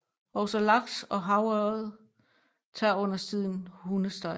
Også laks og havørred tager undertiden hundestejler